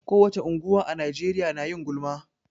Ko wace unguwa a Najeriya na yin gulma.